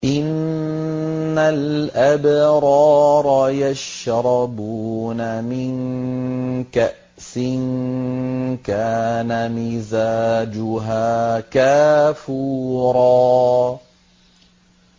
إِنَّ الْأَبْرَارَ يَشْرَبُونَ مِن كَأْسٍ كَانَ مِزَاجُهَا كَافُورًا